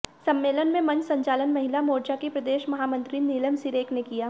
सम्मेलन में मंच संचालन महिला मोर्चा की प्रदेश महामंत्री नीलम सीरेख ने किया